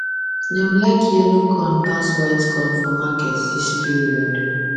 dem like yellow corn pass white corn for market this period